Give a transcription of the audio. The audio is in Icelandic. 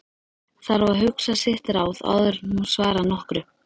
Þarf að hugsa sitt ráð áður en hún svarar nokkru.